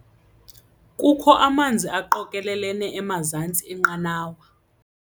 Kukho amanzi aqokelelene emazantsi enqanawa.